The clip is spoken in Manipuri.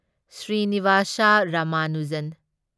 ꯁ꯭ꯔꯤꯅꯤꯚꯥꯁꯥ ꯔꯥꯃꯥꯅꯨꯖꯟ